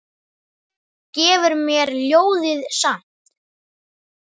Gefur mér ljóðið samt.